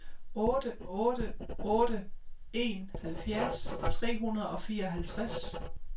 otte otte otte en halvfjerds tre hundrede og fireoghalvtreds